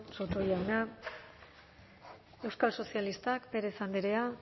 eskerrik asko soto jauna euskal sozialistak pérez andrea